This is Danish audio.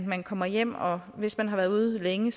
man kommer hjem og hvis man har været ude længe